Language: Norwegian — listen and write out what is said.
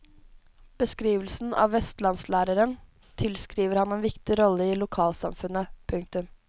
Beskrivelsen av vestlandslæreren tilskriver ham en viktig rolle i lokalsamfunnet. punktum